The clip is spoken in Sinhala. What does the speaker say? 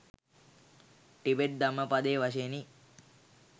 ටිබෙට් ධම්මපදය වශයෙනි.